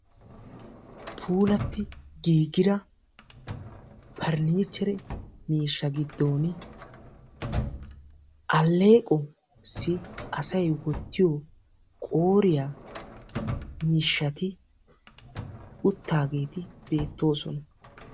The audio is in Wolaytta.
Puulatti giigida parnniichchere miishshaa giddooni alleeqossi asayi wottiyo qooriya miishshati uttaageeti beettoosona.